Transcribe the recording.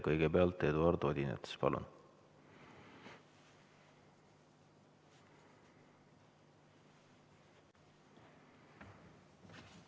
Kõigepealt Eduard Odinets, palun!